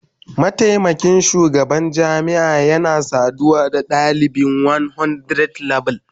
Mataimakin shugaban jami'a yana saduwa da dalibi 100level